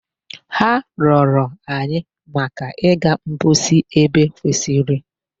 Ha rịọrọ anyi maka iga mposi ebe kwesịrị.